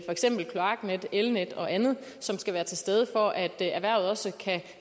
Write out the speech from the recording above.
eksempel kloaknet elnet og andet som skal være til stede for at erhvervet også